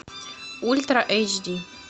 ультра эйч ди